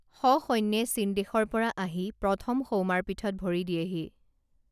সসৈন্যে চীনদেশৰ পৰা আহি প্ৰথম সৌমাৰপীঠত ভৰি দিয়েহি